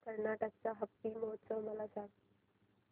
कर्नाटक चा हम्पी महोत्सव मला सांग